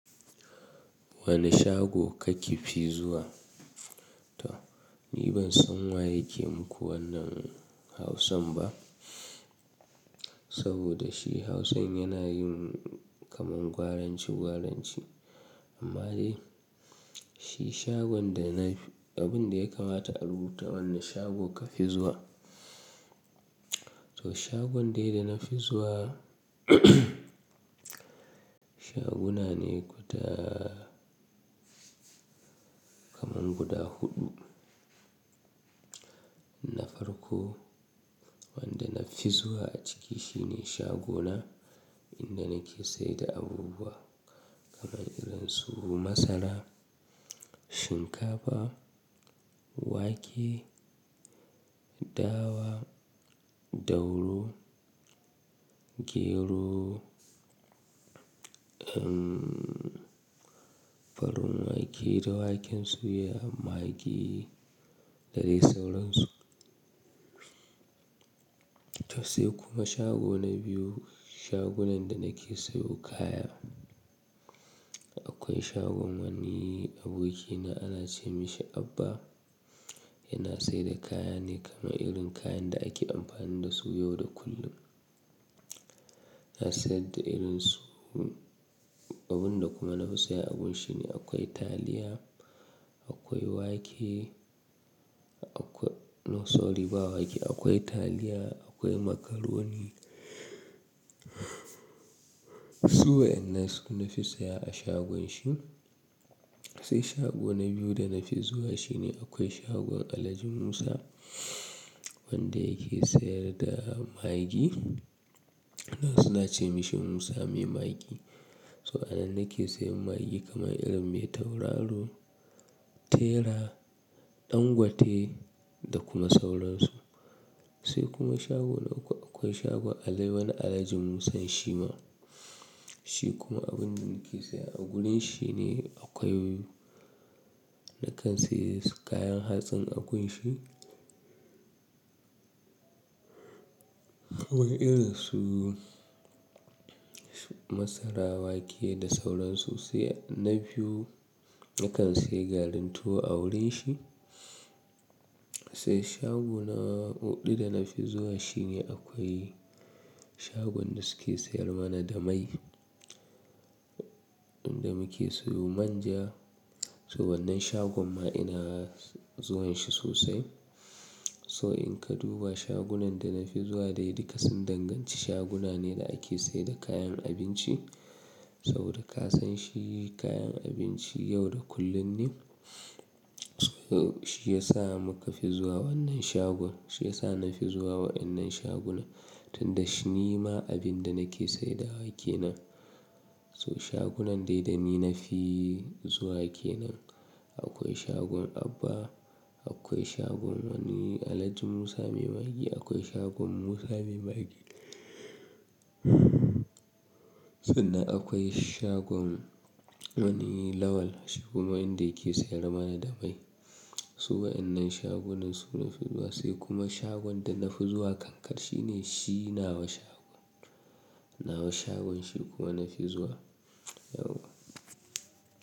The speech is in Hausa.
Wane shago kake fi zuwa? To, ni ban san wa yake muku wannan hausan ba. Saboda shi hausan yana yin kamar gwaranci gwaranci. Amma dai, shi shagon da na, abin da ya kamata a rubuta wanne shago ka fi zuwa. To shagon dai da na fi zuwa shaguna ne guda kamar guda huɗu. Na farko, wanda na fi zuwa a ciki shine shago na inda nake sayar da abubuwa kamar irin su masara, shinkafa, wake, dawa, dauru, gero, farin wake da waken suya, magi da dai sauransu. To sai kuma shago na biyu, shagunan da nake sayo kaya. Akwai shagon wani abokina ana ce mishi Abba, yana sayar da kaya ne kamar irin kayan da ake amfani dasu yau da kullum. Na sayar da irin su abin da kuma na fi saya a wurin shi ne akwai taliya, akwai wake, akwai No sorry ba wake. Akwai taliya, akwai macaroni. Su wa'annan su na fi saya a shagon shi. Sai shago na biyu da na fi zuwa shi ne akwai shagon Alhaji Musa wanda yake sayar da magi. Suna ce mishi Musa mai magi. To a nan nake sayan magi kamar irin mai tauraro, tera, dangote da kuma sauransu. Sai kuma shago na uku, akwai shagon wani Alhaji Musan Shima. Shi kuma abin da nake saya a wurin shi ne akwai nakan sayi kayan hatsin a wurin shi. Wa irin su masara, wake da sauransu. Sai na biyu nakan sayi garin tuwo a wurin shi. Sai shagon huɗu da na fi zuwa shi ne akwai shagon da suke sayar mana da mai. Inda muke sayo manja. To wannan shagon ma ina zuwan shi sosai. So in ka duba shagunan da na fi zuwa dai duka sun danganci shaguna ne da ake sayar da kayan abinci. Saboda ka san shi kayan abinci yau da kullum ne. So shi ya sa mu ka fi zuwa wannan shagon. Shi ya sa na fi zuwa wa'innan shaguna. Tunda shi nima abin da nake sayar da wake nan. So shagunan dai da ni na fi zuwa ke nan. Akwai shagon Abba, akwai shagon wani Alhaji Musa mai magi, akwai shagon Musa mai magi. Sannan akwai shagon wani Lawal. Shi kuma inda yake sayar mana da mai. Su wa'innan shagunan su na fi zuwa. Sai kuma shagon da na fi zuwa kankar shi ne shi nawa shagon. Nawa shagon shi kuma na fi zuwa. Yau.